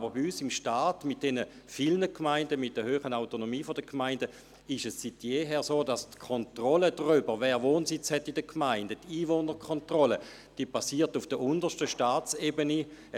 Aber bei uns mit unseren vielen Gemeinden und der grossen Autonomie der Gemeinden ist es seit jeher so, dass die Kontrolle darüber, wer in den Gemeinden Wohnsitz hat, auf der untersten Staatsebene erfolgt.